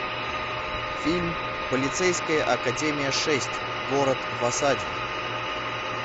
фильм полицейская академия шесть город в осаде